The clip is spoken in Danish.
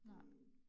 Nej